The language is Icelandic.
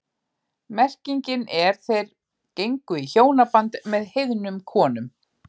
Merkingin er þeir gengu í hjónaband með heiðnum konum.